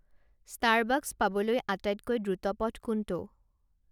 Starbucks পাবলৈ আটাইতকৈ দ্ৰুত পথ কোনটো